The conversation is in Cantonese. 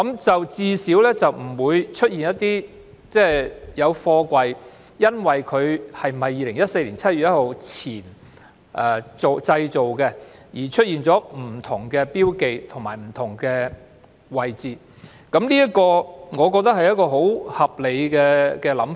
這樣最低限度不會出現因貨櫃在2014年7月1日前或後製造而出現不同的標記，或是標記置於不同的位置，我認為這是十分合理的想法。